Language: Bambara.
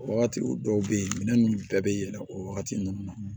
O wagati o dɔw be ye minɛn nunnu bɛɛ be yɛlɛn o wagati nunnu na